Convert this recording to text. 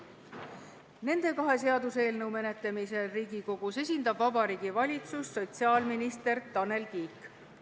Nende kahe seaduseelnõu menetlemisel Riigikogus esindab Vabariigi Valitsust sotsiaalminister Tanel Kiik.